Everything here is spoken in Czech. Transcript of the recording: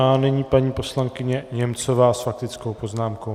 A nyní paní poslankyně Němcová s faktickou poznámkou.